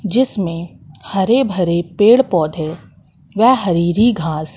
जिसमें हरे भरे पेड़ पौधे व हरी हरी घास--